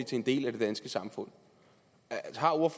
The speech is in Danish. til en del af det danske samfund